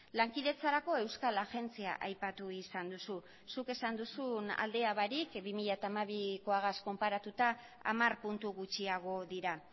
lankidetzarako euskal agentzia aipatu izan duzu zuk esan duzun aldea barik bi mila hamabikoagaz konparatuta hamar puntu gutxiago dira